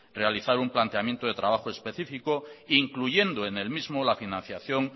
realizar un planteamiento de trabajo específico incluyendo en el mismo la financiación